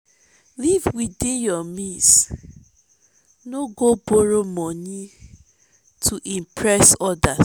live within your means no go borrow monie to impress others.